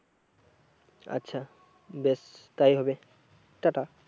আচ্ছা বেশ তাই হবে টাটা